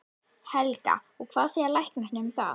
Helga: Og hvað segja læknarnir um það?